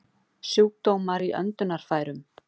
Sjúkdómar í öndunarfærum